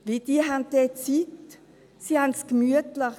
Sie haben dort Zeit, sie haben es gemütlich.